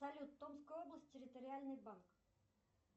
салют томская область территориальный банк